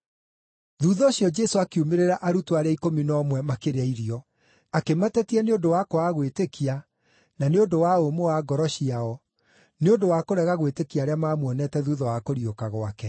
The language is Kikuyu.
Thuutha ũcio Jesũ akiumĩrĩra arutwo arĩa ikũmi na ũmwe makĩrĩa irio; akĩmatetia nĩ ũndũ wa kwaga gwĩtĩkia na nĩ ũndũ wa ũmũ wa ngoro ciao, nĩ ũndũ wa kũrega gwĩtĩkia arĩa maamuonete thuutha wa kũriũka gwake.